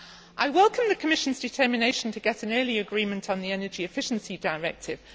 I welcome the Commission's determination to get an early agreement on the Energy Efficiency Directive.